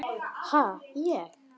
Ha, ég?